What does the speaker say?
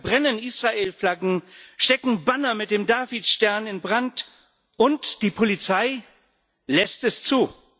Sie verbrennen Israel Flaggen, stecken Banner mit dem Davidstern in Brand, und die Polizei lässt es zu.